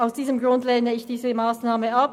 Aus diesem Grund lehne ich diese Massnahme ab.